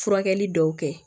Furakɛli dɔw kɛ